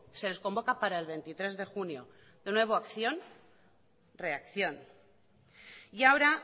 se les convoca para el veintitrés de junio de nuevo acción reacción y ahora